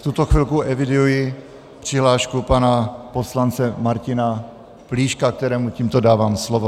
V tuto chvilku eviduji přihlášku pana poslance Martina Plíška, kterému tímto dávám slovo.